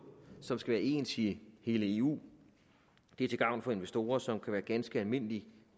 som skal være ens i hele eu det er til gavn for investorer som kan være ganske almindelige